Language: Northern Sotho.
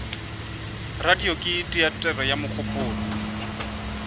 radio ke teatere ya mogopolo